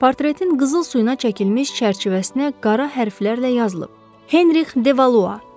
Portretin qızıl suyuna çəkilmiş çərçivəsinə qara hərflərlə yazılıb: Henrix Devalua.